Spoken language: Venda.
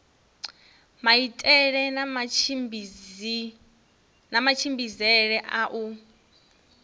maitele na matshimbidzele a u